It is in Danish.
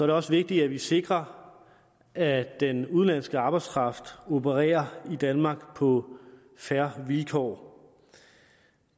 det også vigtigt at vi sikrer at den udenlandske arbejdskraft opererer i danmark på fair vilkår